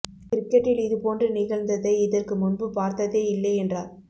கிரிக்கெட்டில் இது போன்று நிகழ்ந்ததை இதற்கு முன்பு பார்த்ததே இல்லை என்றார்